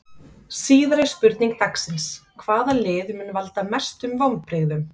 Síðari spurning dagsins: Hvaða lið mun valda mestum vonbrigðum?